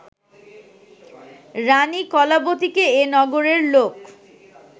রাণী কলাবতীকে এ নগরের লোক